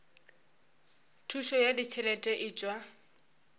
thušo ya ditšhelete e tšwa